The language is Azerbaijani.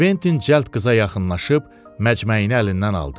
Kventin cəld qıza yaxınlaşıb məcməyini əlindən aldı.